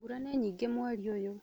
Mbura nĩ nyingĩ mweri ũyũ